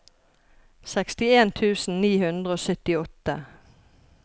sekstien tusen ni hundre og syttiåtte